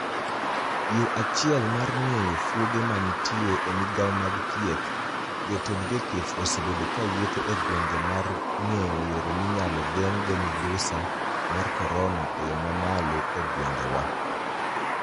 Yo achiel mar nigeyo fuoge maniitie e migao mag thieth , jotenid jothieth osebedo kawuotho e gwenige mar nigeyo yore miniyalo genig go miduSaa mar koronia e yo mamalo e gwenige wa.